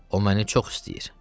O məni çox istəyir.